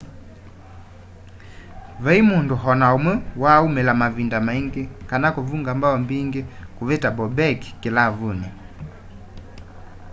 vai mundu o na umwe waa umila mavinda maingi kana kuvunga mbao mbingi kuvita bobek kilavuni